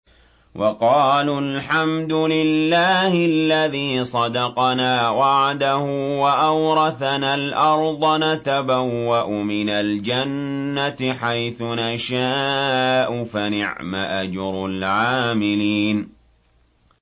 وَقَالُوا الْحَمْدُ لِلَّهِ الَّذِي صَدَقَنَا وَعْدَهُ وَأَوْرَثَنَا الْأَرْضَ نَتَبَوَّأُ مِنَ الْجَنَّةِ حَيْثُ نَشَاءُ ۖ فَنِعْمَ أَجْرُ الْعَامِلِينَ